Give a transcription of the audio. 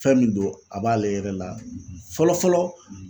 Fɛn min don a b'ale yɛrɛ la fɔlɔ fɔlɔ